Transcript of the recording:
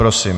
Prosím.